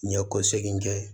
N ye kɔsegin kɛ